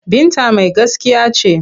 Binta mai gaskiya ce.